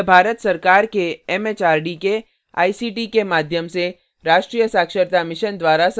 यह भारत सरकार के एमएचआरडी के आईसीटी के माध्यम से राष्ट्रीय साक्षरता mission द्वारा समर्थित है